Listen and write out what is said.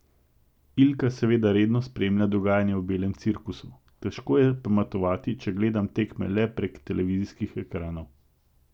Ilka seveda redno spremlja dogajanje v belem cirkusu: "Težko je pametovati, če gledam tekme le prek televizijskih ekranov.